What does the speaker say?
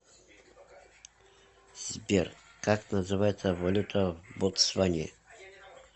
сбер как называется валюта в ботсване